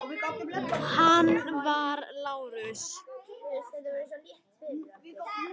Hann var Lárus